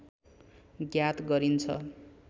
ज्ञात गरिन्छ